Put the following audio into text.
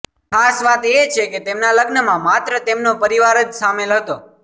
ખાસ વાતએ છે કે તેમના લગ્નમાં માત્ર તેમનો પરિવાર જ શામેલ હતો